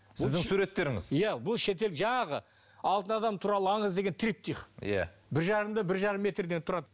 сіздің суреттеріңіз иә бұл шетел жаңағы алтын адам туралы аңыз деген триптих иә бір жарым да бір жарым метрден тұрады